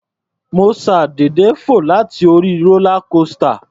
Mo ṣàdédé fò láti orí rólá kósità.